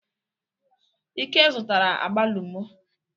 Ike zụtara agbalumo.